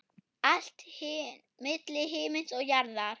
Allt milli himins og jarðar.